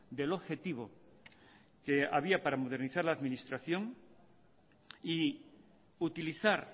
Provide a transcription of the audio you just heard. del objetivo que había para modernizar la administración y utilizar